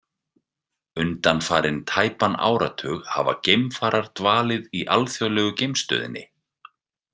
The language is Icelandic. Undanfarinn tæpan áratug hafa geimfarar dvalið í alþjóðlegu geimstöðinni.